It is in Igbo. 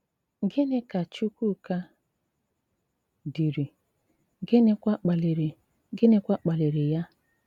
Gìnị ka Chùkwùká dìrì, gínịkwà kpalìrì gínịkwà kpalìrì ya?